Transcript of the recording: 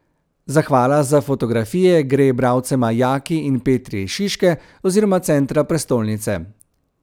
Zahvala za fotografije gre bralcema Jaki in Petri iz Šiške oziroma centra prestolnice.